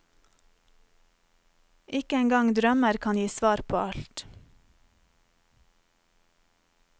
Ikke engang drømmer kan gi svar på alt.